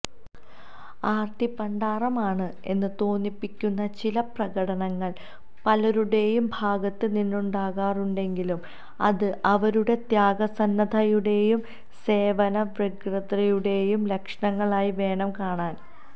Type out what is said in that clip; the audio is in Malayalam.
ആര്ത്തിപ്പണ്ടാരമാണ് എന്ന് തോന്നിപ്പിക്കുന്ന ചില പ്രകടനങ്ങള് പലരുടെയും ഭാഗത്ത് നിന്നുണ്ടാകാറുണ്ടെങ്കിലും അത് അവരുടെ ത്യാഗസന്നദ്ധതയുടെയും സേവനവ്യഗ്രതയുടെയും ലക്ഷണങ്ങളായി വേണം കാണാന്